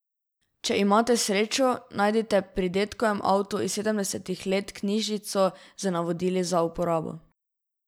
Če imate srečo, najdite pri dedkovem avtu iz sedemdesetih let knjižico z navodili za uporabo.